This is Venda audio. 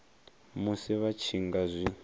musi vha tshi nga zwi